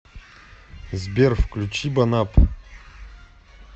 сбер включи бонапп